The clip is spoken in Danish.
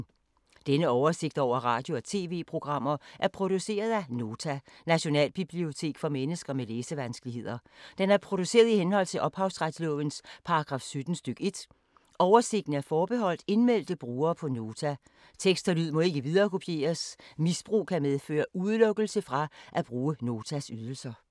Denne oversigt over radio og TV-programmer er produceret af Nota, Nationalbibliotek for mennesker med læsevanskeligheder. Den er produceret i henhold til ophavsretslovens paragraf 17 stk. 1. Oversigten er forbeholdt indmeldte brugere på Nota. Tekst og lyd må ikke viderekopieres. Misbrug kan medføre udelukkelse fra at bruge Notas ydelser.